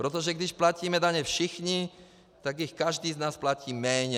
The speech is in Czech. Protože když platíme daně všichni, tak jich každý z nás platí méně.